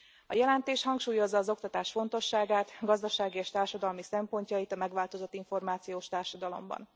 A jelentés hangsúlyozza az oktatás fontosságát, gazdasági és társadalmi szempontjait a megváltozott információs társadalomban.